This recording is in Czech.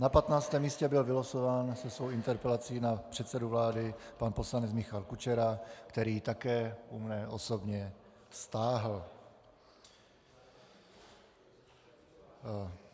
Na 15. místě byl vylosován se svou interpelací na předsedu vlády pan poslanec Michal Kučera, který ji také u mne osobně stáhl.